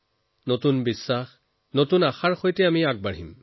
নতুন আশা নতুন বিশ্বাসৰ সৈতে আমি আগবাঢ়িম